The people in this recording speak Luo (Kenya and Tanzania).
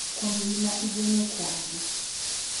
Kuom gima igeno kuomgi.